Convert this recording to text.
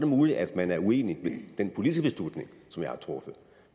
muligt at man er uenig i den politiske beslutning som jeg har truffet